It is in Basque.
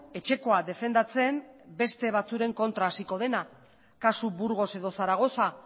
etxekoa defendatzen beste batzuen kontra hasiko dena kasu burgos edo zaragoza